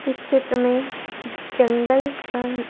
इस क्षेत्र में जंगल का--